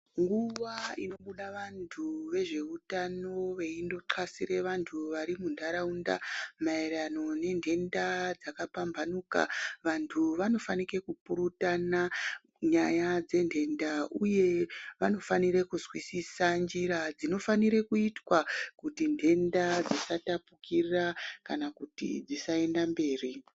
Nguwa inobuda vantu vezveutano veindotahlasire vanhu varimunharaunda, maererano nenhenda dzakapambanhuka, vanhu vanofanike kupurutana nyaya dzenhenda uye vanofanire kunzwisisa njira dzinofanirwe kuitwa kuti nhenda dzisatapukira kana kuti dzisaenda mberi.